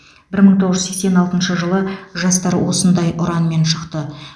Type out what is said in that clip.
бір мың тоғыз жүз сексен алтыншы жылы жастар осындай ұранмен шықты